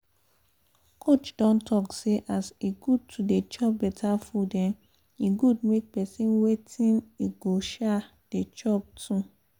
coach don talk say as e good to dey chop better food um e good make person wetin e go um dey chop too